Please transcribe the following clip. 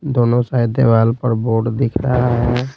दोनों साइड देवाल पर बोर्ड दिख रहा है।